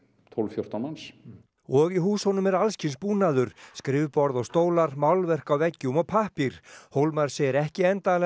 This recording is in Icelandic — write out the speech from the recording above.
tólf fjórtán manns og í húsunum er alls kyns búnaður skrifborð og stólar málverk á veggjum og pappír hólmar segir ekki endanlega